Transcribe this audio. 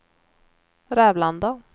Rävlanda